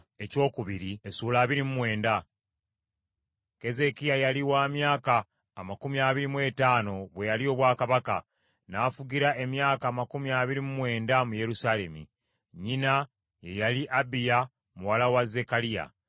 Keezeekiya yali wa myaka amakumi abiri mu etaano bwe yalya obwakabaka; n’afugira emyaka amakumi abiri mu mwenda mu Yerusaalemi. Nnyina ye yali Abiya muwala wa Zekkaliya.